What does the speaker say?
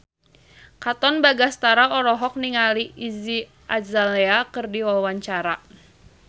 Katon Bagaskara olohok ningali Iggy Azalea keur diwawancara